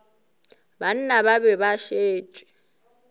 banna ba be ba šetše